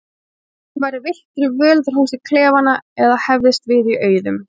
Eins og hann væri villtur í völundarhúsi klefanna eða hefðist við í auðum.